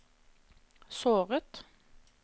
såret